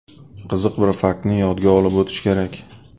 Qiziq bir faktni yodga olib o‘tish kerak.